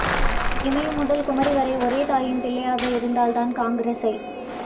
இமயம் முதல் குமரி வரை ஒரே தாயின் பிள்ளையாக இருந்தால் தான் காங்கிரசை